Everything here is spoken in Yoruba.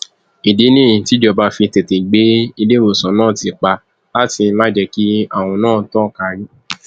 ìdí nìyí tíjọba fi tètè gbé iléewòsàn náà ti pa láti má jẹ kí àrùn náà tàn kiri